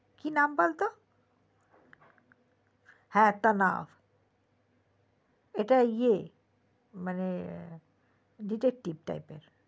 কি নাম বলতো হ্যা তানহা ওটা ইএ মানে detective type এর